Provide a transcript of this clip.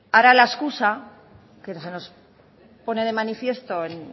ahora la excusa que se nos pone de manifiesto en